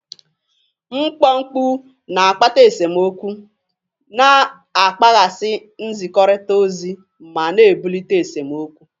Mkpọ mkpu na-akpata esemokwu, na-akpaghasị nzikọrịta ozi, ma na-ebulite esemokwu.